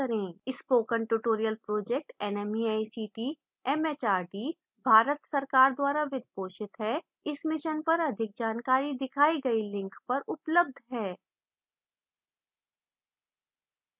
spoken tutorial project nmeict mhrd Bharat सरकार द्वारा वित्त पोषित है इस mission पर अधिक जानकारी दिखाई गई link पर उपलब्ध है